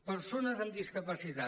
persones amb discapacitat